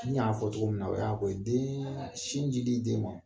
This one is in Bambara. N y'a fɔ cogo min na o y'a fɔ den sin jili den ma